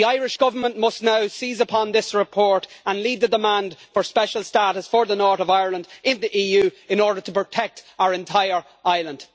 The Irish Government must now seize upon this report and lead the demand for special status for the North of Ireland in the EU in order to protect our entire island.